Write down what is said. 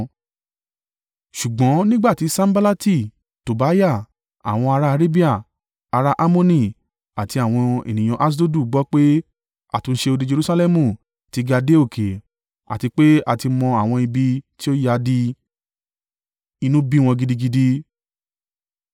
Ṣùgbọ́n nígbà tí Sanballati, Tobiah, àwọn ará Arabia, ará Ammoni, àti àwọn ènìyàn Aṣdodu gbọ́ pé àtúnṣe odi Jerusalẹmu ti ga dé òkè àti pé a ti mọ àwọn ibi tí ó yá dí, inú bí wọn gidigidi.